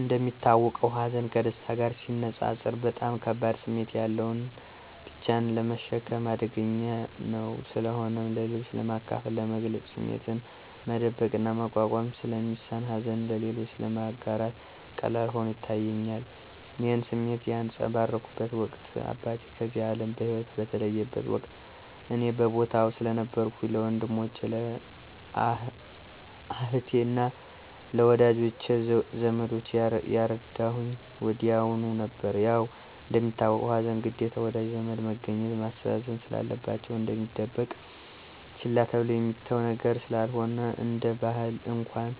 እንደሚታወቀው ሀዘን ከደስታ ጋር ሲነፃፀር በጣም ከባድ ስሜት ያለውና ብቻን ለመሸከም አዳጋች ነው። ስለሆነም ለሌሎች ለማካፈል፥ ለመግለፅ ስሜቱን መደበቅና መቋቋም ስለሚሳን ሀዘንን ለሌሎች ለማጋራት ቀላል ሆኖ ይታየኛል። ይህን ስሜት ያንፀባረኩበት ወቅት አባቴ ከዚህ አለም በሂወት በተለየበት ወቅት እኔ በቦታው ስለነበርኩኝ ለወንድሞቸ፥ አህቴ አና ለወዳጂ ዘመዶቸ ያረዳሁኝ ወዲያሁኑ ነበር። ያው እንደሚታወቀው ሀዘን ግዴታ ወዳጅ ዘመድ መገኘትና ማስተዛዘን ስላለባቸው፣ እሚደበቅና ችላ ተብሎ የሚተው ነገር ስላልሆነ፤ እንደ ባህል እንኳን